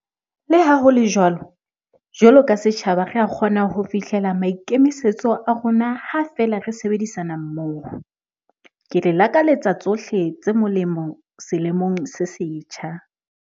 Leha ho le jwalo, jwalo ka setjhaba re a kgona ho fihlela maikemisetso a rona ha feela re sebedisana mmoho. Ke le lakaletsa tsohle tse molemo selemong se setjha.